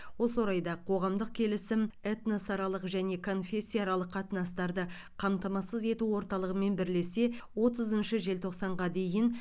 осы орайда қоғамдық келісім этносаралық және конфессияаралық қатынастарды қамтамасыз ету орталығымен бірлесе отызыншы желтоқсанға дейін